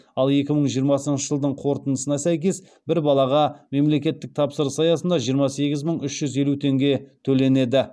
ал екі мың жиырмасыншы жылдың қорытындысына сәйкес бір балаға мемлекеттік тапсырыс аясында жиырма сегіз мың үш жүз елу теңге төленеді